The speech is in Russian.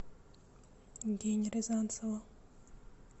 гене рязанцеву